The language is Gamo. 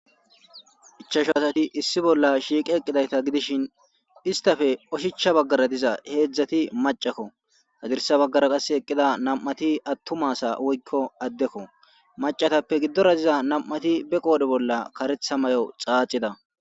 ichasho asati issi bolla shiiqe eqqidayta gidishin istafe oshicha baggara diza heedzdzati macakko hazirsa baggara qasse eqqida nam7ati attumasa woykko addekko macatappe giddora diza nam7ati be qoode bolla karetha may7o xaacida